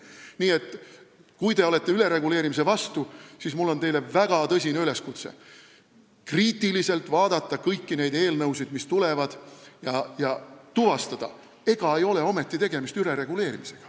Nii et kui te olete ülereguleerimise vastu, siis on mul teile väga tõsine üleskutse: vaadake kriitiliselt kõiki neid eelnõusid, mis siia tulevad, ja tuvastage, ega ei ole ometi tegemist ülereguleerimisega.